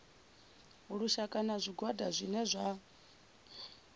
lushaka na zwigwada zwine zwa